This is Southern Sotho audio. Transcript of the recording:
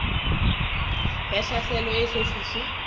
ya tlhaselo e eso fihle